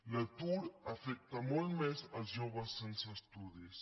l’atur afecta molt més els joves sense estudis